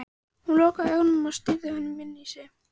Hún lokaði augunum og stýrði honum inn í sig.